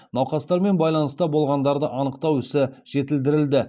науқастармен байланыста болғандарды анықтау ісі жетілдірілді